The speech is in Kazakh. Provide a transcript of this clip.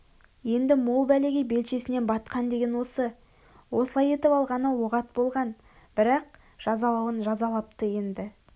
енді мол бәлеге белшесінен батқан деген осы осылай етіп алғаны оғат болған бірақ жазалауын жазалапты енді